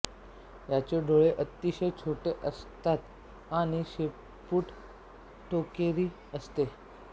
याचे डोळे अतिशय छोटे असतात आणि शेपूट टोकेरी असते